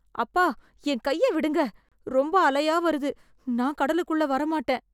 அப்பா, என் கைய விடுங்க... ரொம்ப அலையா வருது, நான் கடலுக்குள்ள வரமாட்டேன்.